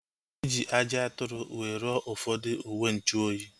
Eji ajị atụrụ wee rụọ ụfọdụ uwenchuoyi